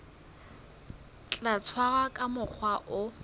tla tshwarwa ka mokgwa o